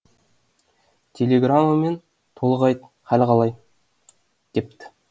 телеграммамен толық айт халі қалай депті